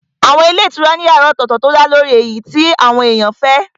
Àwọn ilé ìtura ní yàrá ọ̀tọ̀tọ̀ tó dálórí èyí tí àwọn èèyàn fẹ́